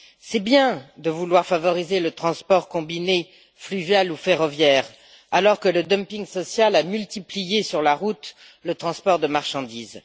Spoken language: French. C'est bien de vouloir favoriser le transport combiné fluvial ou ferroviaire alors que le dumping social a multiplié sur la route le transport de marchandises.